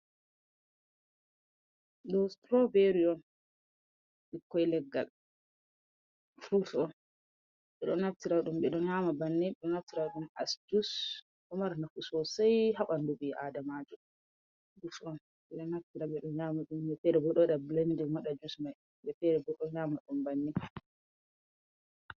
Ɗoo "sitiroobeeri" on, ɓikkoy leggal "furut" on. Ɓe naftira ɗum ɓe ɗo nyaama bannii, ɓe ɗon naftira ɗum "as juus". Ɗon Mari nafu soosey" ha ɓanndu ɓii'aadamaajo. "Jus" on, ɓe ɗo naftira ɓe nyaama ɗum, woɓɓe feere bo ɗo waɗa "bilendin" waɗa "jus" man. Woɓɓe feere bo ɗo nyaama ɗum banninii.